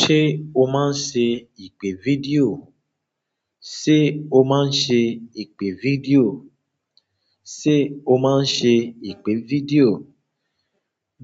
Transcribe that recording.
Ṣé o máa ń ṣe ìpè fídíò? Ṣé o máa ń ṣe ìpè fídíò? Ṣé o máa ń ṣe ìpè fídíò?